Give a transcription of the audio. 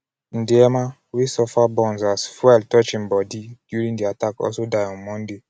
ndiema wey follow burn as fuel touch im own bodi during di attack also die on monday.